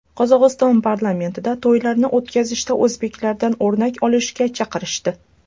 Qozog‘iston parlamentida to‘ylarni o‘tkazishda o‘zbeklardan o‘rnak olishga chaqirishdi.